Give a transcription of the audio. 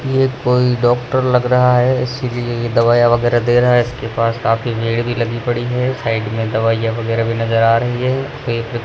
ये कोई डॉक्टर लग रहा है इसीलिए ये दवाइयां वगैरह दे रहा है इसके पास काफी भीड़ भी लगी पड़ी है साइड में दवाइयां वगैरह भी नजर आ रही है --